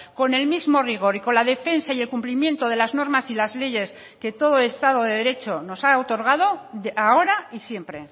con el mismo rigor y con la defensa y el cumplimiento de las normas y las leyes que todo estado de derecho nos ha otorgado ahora y siempre